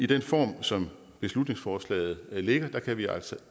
den form som beslutningsforslaget ligger